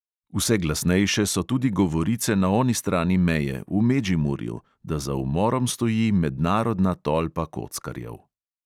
Vse glasnejše so tudi govorice na oni strani meje, v medžimurju, da za umorom stoji mednarodna tolpa kockarjev.